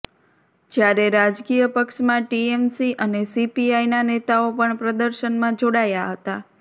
જ્યારે રાજકીયપક્ષમાં ટીએમસી અને સીપીઆઈના નેતાઓ પણ પ્રદર્શનમાં જોડાયા હતા